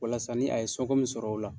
Walasa ni a ye sɔn ko min sɔrɔ o la